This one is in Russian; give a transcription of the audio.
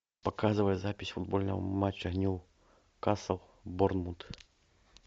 показывай запись футбольного матча ньюкасл борнмут